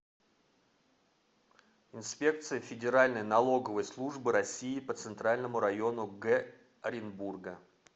инспекция федеральной налоговой службы россии по центральному району г оренбурга